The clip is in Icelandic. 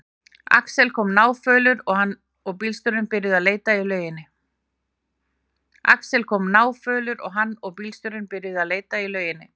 Axel kom náfölur og hann og bílstjórinn byrjuðu að leita í lauginni.